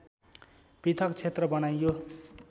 पृथक क्षेत्र बनाइयो